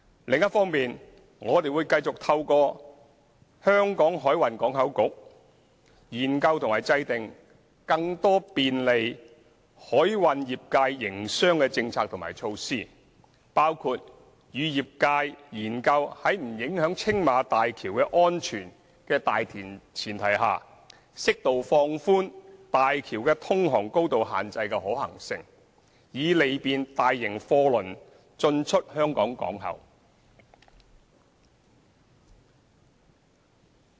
另一方面，我們會繼續透過香港海運港口局研究和制訂更多便利海運業界營商的政策和措施，包括與業界研究，在不影響青馬大橋的安全的大前提下，適度放寬大橋的通航高度限制的可行性，以利便大型貨輪進出香港港口。